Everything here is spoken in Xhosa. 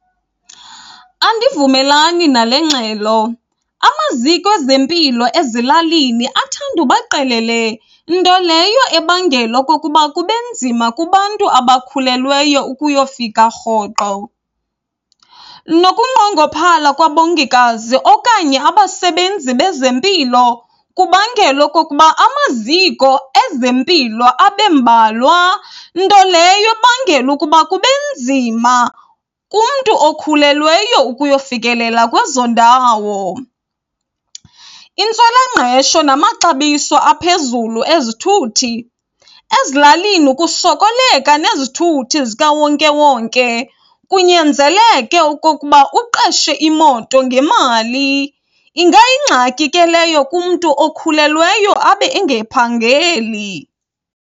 Andivumelani nale ngxelo amaziko ezempilo ezilalini athanda uba qelele, nto leyo ebangela okokuba kubenzima kubantu abakhulelweyo ukuyofika rhoqo. Nokunqongophala kwabongikazi okanye abasebenzi bezempilo kubangela okokuba amaziko ezempilo abe mbalwa, nto leyo ebangela ukuba kubenzima kumntu okhulelweyo ukuyofikelela kwezo ndawo. Intswelangqesho namaxabiso aphezulu ezithuthi. Ezilalini kusokoleka nezithuthi zikawonke wonke kunyanzeleke okokuba uqeshe imoto ngemali. Ingayingxaki ke leyo kumntu okhulelweyo abe engaphangeli.